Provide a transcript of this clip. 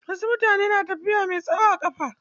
Wasu mutane na tafiya mai tsawo a ƙafa.